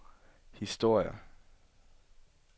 historier